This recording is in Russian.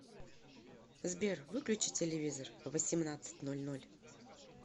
сбер выключи телевизор в восемнадцать ноль ноль